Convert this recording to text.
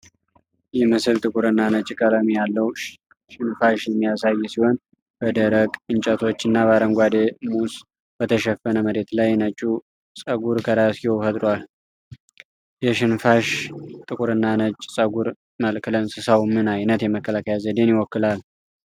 ይህ ምስል ጥቁርና ነጭ ቀለም ያለው ሽንፋሽ የሚያሳይ ሲሆን፣ በደረቅ እንጨቶች እና በአረንጓዴ ሙስ በተሸፈነ መሬት ላይ ። ነጩ ጸጉር ከራስጌው ፈጥሯል። የሽንፋሽ (Skunk) ጥቁርና ነጭ ጸጉር መልክ ለእንስሳው ምን ዓይነት የመከላከያ ዘዴን ይወክላል?